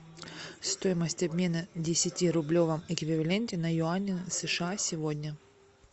стоимость обмена в десятирублевом эквиваленте на юани сша сегодня